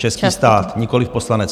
Český stát, nikoliv poslanec.